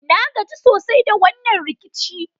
Na gaji sosai da wannan rikici.